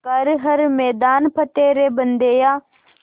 कर हर मैदान फ़तेह रे बंदेया